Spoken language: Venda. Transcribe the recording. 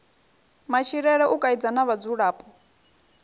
matshilele u kaidza na vhadzulapo